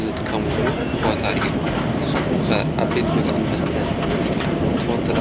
ዝጥቀሙሉ ቦታ እዩ፡፡ ስኻትኩም ከ ኣብ ቤት ብልዕን መስተን ተጠዊምኹም ትፈልጡ ዶ?